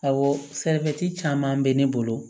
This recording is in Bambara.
Awɔ sɛnɛfɛn caman bɛ ne bolo